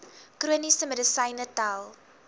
chroniese medisyne tel